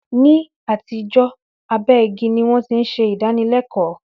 Ní àtijọ́, abẹ́ igi ni wón ti ń ṣe ìdánilẹkọ́